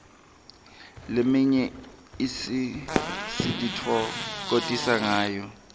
leminye sititfokotisa ngayo